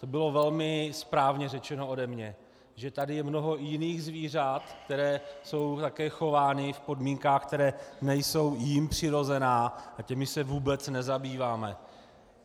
To bylo velmi správně řečeno ode mě, že tady je mnoho jiných zvířat, která jsou také chována v podmínkách, které nejsou jim přirozené, a těmi se vůbec nezabýváme.